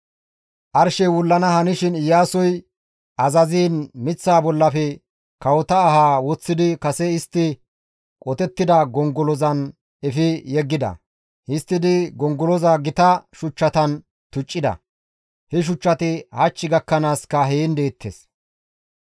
Arshey wullana hanishin Iyaasoy azaziin miththaa bollafe kawota ahaa woththidi kase istti qotettida gongolozan efi yeggida. Histtidi gongoloza gita shuchchatan tuccida; he shuchchati hach gakkanaaska heen deettes.